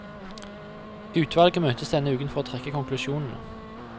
Utvalget møtes denne uken for å trekke konklusjonene.